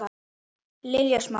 Lilja Smára.